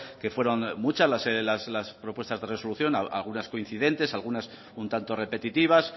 que fueron muchas las propuestas de resolución algunas coincidentes algunas un tanto repetitivas